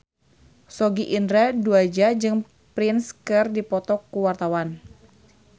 Sogi Indra Duaja jeung Prince keur dipoto ku wartawan